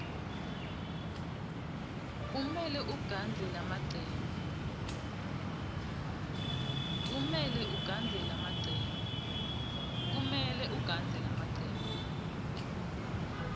kumele ugandze lamacembe